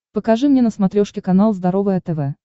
покажи мне на смотрешке канал здоровое тв